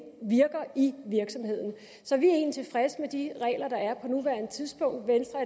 virker i virksomheden så vi er egentlig tilfredse med de regler der er på nuværende tidspunkt venstre